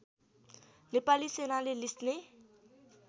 नेपाली सेनाले लिस्ने